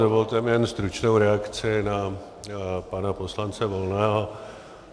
Dovolte mi jen stručnou reakci na pana poslance Volného.